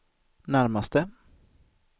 närmaste